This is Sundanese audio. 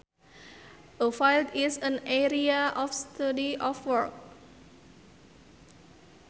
A field is an area of study or work